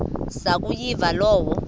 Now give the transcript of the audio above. zaku yiva loo